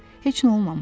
Heç nə olmamışdı.